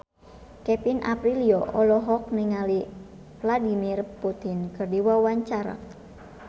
Kevin Aprilio olohok ningali Vladimir Putin keur diwawancara